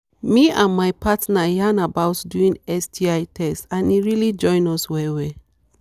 me and my partner yarn about doing sti test and e really join us well well